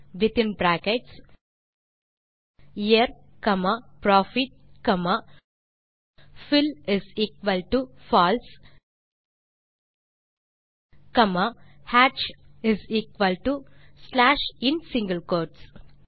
within bracket year comma profit comma fillFalse comma hatchslash இன் single code